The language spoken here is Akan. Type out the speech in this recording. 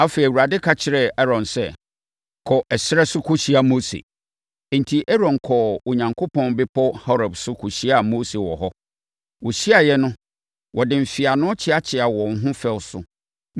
Afei, Awurade ka kyerɛɛ Aaron sɛ, “Kɔ ɛserɛ no so kɔhyia Mose.” Enti, Aaron kɔɔ Onyankopɔn Bepɔ Horeb so kɔhyiaa Mose wɔ hɔ. Wɔhyiaeɛ no, wɔde mfeano kyeakyeaa wɔn ho fɛw so.